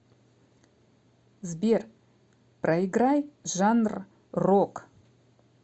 сбер проиграй жанр рок